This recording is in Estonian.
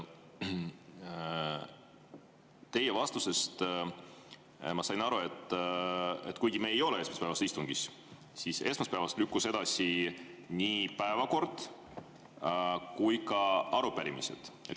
Teie vastusest ma sain aru, et kuigi me ei ole esmaspäevases istungis, lükkusid esmaspäevast edasi nii päevakord kui ka arupärimised.